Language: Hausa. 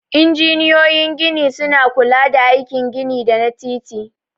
Injiniyoyin gini suna kula da aikin gini da na titi.